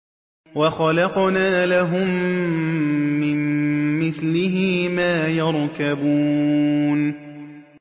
وَخَلَقْنَا لَهُم مِّن مِّثْلِهِ مَا يَرْكَبُونَ